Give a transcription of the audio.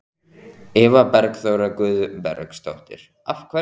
Eva Bergþóra Guðbergsdóttir: Af hverju?